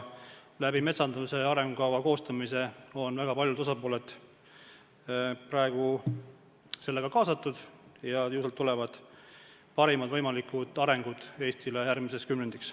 Metsanduse arengukava koostamise kaudu on väga paljud osapooled praegu kaasatud ja ju sealt tulevad Eesti parimad võimalikud arengud järgmiseks kümnendiks.